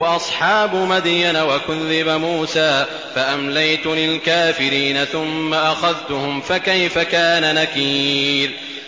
وَأَصْحَابُ مَدْيَنَ ۖ وَكُذِّبَ مُوسَىٰ فَأَمْلَيْتُ لِلْكَافِرِينَ ثُمَّ أَخَذْتُهُمْ ۖ فَكَيْفَ كَانَ نَكِيرِ